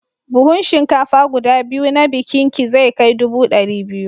Buhun shinkafa guda biyu na bikinki zai kai dubu ɗari biyu.